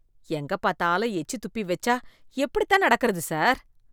எங்க பாத்தாலும் எச்சி துப்பி வெச்சா எப்படித்தான் நடக்கறது சார்?